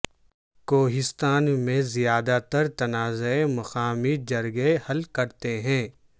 کوہستان میں زیادہ تر تنازعے مقامی جرگے حل کرتے ہیں